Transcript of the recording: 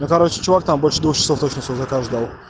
ну короче чувак там больше двух часов свой заказ ждал